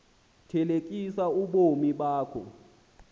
thelekisa ubomi bakho